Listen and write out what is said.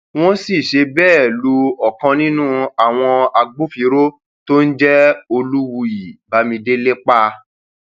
wọn sì ṣe bẹẹ lu ọkan nínú àwọn agbófinró tó ń jẹ olùwíyí bámidélé pa